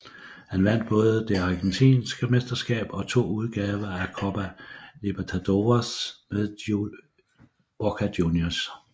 Han vandt både det argentinske mesterskab og to udgaver af Copa Libertadores med Boca Juniors